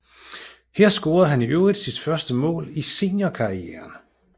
Her scorede han i øvrigt sit første mål i seniorkarrieren